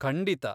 ಖಂಡಿತಾ.